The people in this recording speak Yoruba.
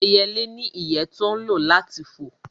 Ẹyẹlé ní ìyẹ́ tó ń lò láti fò